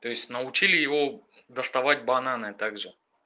то есть научили его доставать бананы также